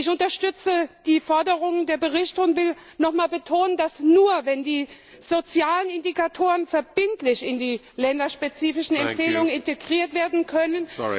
Ich unterstütze die Forderung der Berichterstatter und will nochmal betonen, dass nur, wenn die sozialen Indikatoren verbindlich in die länderspezifischen Empfehlungen integriert werden können,